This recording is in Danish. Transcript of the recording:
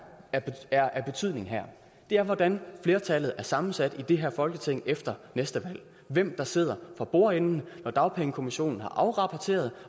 er af betydning her er hvordan flertallet er sammensat i det her folketing efter næste valg hvem der sidder for bordenden når dagpengekommissionen har afrapporteret